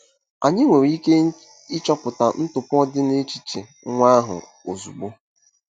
Anyị nwere ike ịchọpụta ntụpọ dị n'echiche nwa ahụ ozugbo.